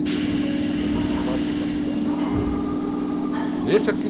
E dois, em setenta e quatro fui passear. Deixa aqui...